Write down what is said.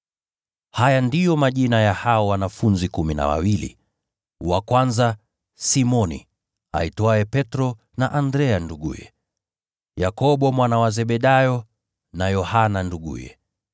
Haya ndiyo majina ya hao mitume kumi na wawili: wa kwanza, Simoni aitwaye Petro, na Andrea nduguye; Yakobo mwana wa Zebedayo, na Yohana nduguye;